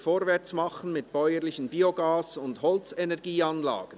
«Vorwärts machen mit bäuerlichen Biogas- und Holzenergieanlagen!